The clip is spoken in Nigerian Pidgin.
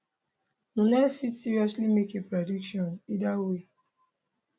noone fit seriously make a prediction either way